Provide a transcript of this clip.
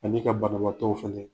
Ani ka banabaatɔw fɛlɛ.